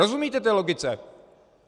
Rozumíte té logice?